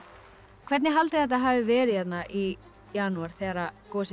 hvernig haldið þetta hafi verið hérna í janúar þegar gosið